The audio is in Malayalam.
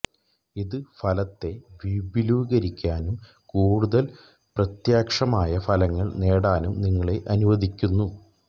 ഇത് ഫലത്തെ വിപുലീകരിക്കാനും കൂടുതൽ പ്രത്യക്ഷമായ ഫലങ്ങൾ നേടാനും നിങ്ങളെ അനുവദിക്കുന്നു